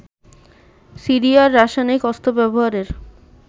সিরিয়ায় রাসায়নিক অস্ত্র ব্যবহারের